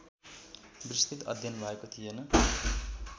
विस्तृत अध्ययन भएको थिएन।